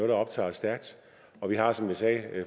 der optager os stærkt vi har som jeg sagde